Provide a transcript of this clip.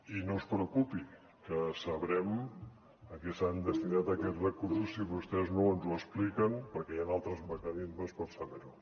i no es preocupi que sabrem a què s’han destinat aquests recursos si vostès no ens ho expliquen perquè hi han altres mecanismes per saber ho